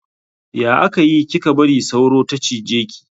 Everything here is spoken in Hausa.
Ya aka yi kika bari sauro ta cije ki?